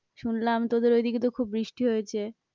শুনলাম তোদের ঐদিকে তো খুব বৃষ্টি হয়েছে।